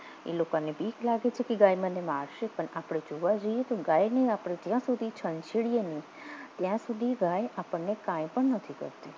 એ લોકોને બીક લાગે છે કે ગાય મને મારશે પણ આપણે જોવા જઈએ તો ગાયને આપણે જ્યાં સુધી છંછેડીએ નહીં ત્યાં સુધી ગાય આપણને કાઇ પણ નથી કરતી